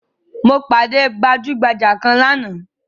Mo pàdé gbajugbaja kan lánàá